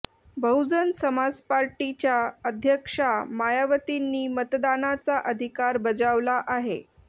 बहुजन समाजवादी पार्टीच्या अध्यक्षा मायावतींनी मतदानाचा अधिकार बजावला आहे